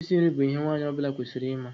Isi nri bụ ihe nwaanyị ọbụla kwesịrị ịma.